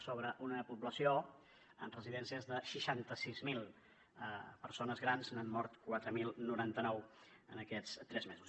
sobre una població en residències de seixanta sis mil persones grans n’han mort quatre mil noranta nou en aquests tres mesos